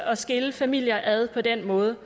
at skille familier ad på den måde